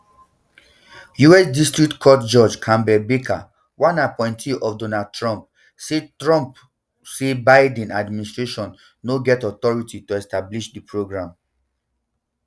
us district court judge campbell barker one appointee of donald trump say trump say biden administration no get authority to establish di programme